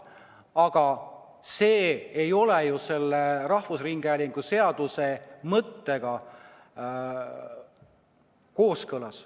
Aga see ei ole ju rahvusringhäälingu seaduse mõttega kooskõlas.